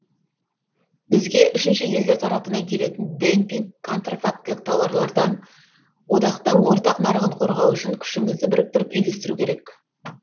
бізге үшінші елдер тарапынан келетін демпинг контрафактілік тауарлардан одақтың ортақ нарығын қорғау үшін күшімізді біріктіріп үйлестіру керек